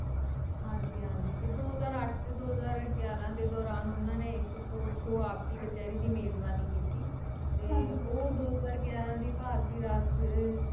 ਹਾਜੀ ਹਾਜੀ ਤੇ ਦੋ ਹਾਜ਼ਰ ਅੱਠ ਤੇ ਦੋ ਹਾਜ਼ਰ ਗਿਆਰਾਂ ਦੇ ਦੌਰਾਨ ਉਨ੍ਹਾਂ ਨੇ ਇਕ court ਚੋ ਆਪ ਕਿ ਕਚੈਰੀ ਦੀ ਮੇਜਬਾਨੀ ਕੀਤੀ ਤੇ ਉਹ ਦੋ ਹਜ਼ਾਰ ਗਿਆਰਾਂ ਦੀ ਭਾਰਤੀ ਰਾਸ਼ਟਰੀਯ ਅਹ